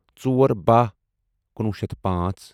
ژور بہہَ کنُوُہ شیتھ پانژھ